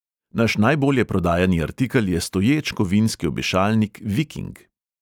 Naš najbolje prodajani artikel je stoječ kovinski obešalnik viking.